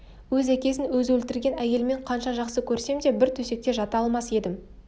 өз әкесін өзі өлтірген әйелмен қанша жақсы көрсем де бір төсекте жата алмас едім